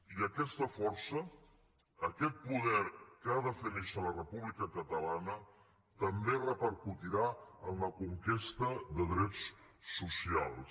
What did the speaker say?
i aquesta força aquest poder que ha de fer néixer la república catalana també repercutirà en la conquesta de drets socials